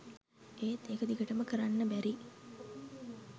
ඒත් ඒක දිගටම කරන්න බැරි